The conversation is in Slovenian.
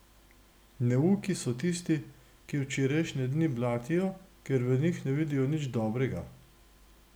Neuki so tisti, ki včerajšnje dni blatijo, ker v njih ne vidijo nič dobrega.